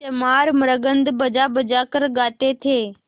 चमार मृदंग बजाबजा कर गाते थे